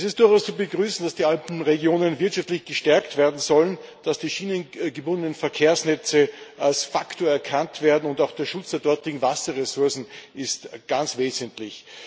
Es ist durchaus zu begrüßen, dass die Alpenregionen wirtschaftlich gestärkt werden sollen, dass die schienengebundenen Verkehrsnetze als Faktor erkannt werden, und auch der Schutz der dortigen Wasserressourcen ist ganz wesentlich.